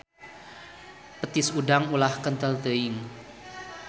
Petis udang ulah kentel teuing.